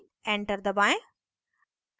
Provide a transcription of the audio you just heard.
enter दबाएं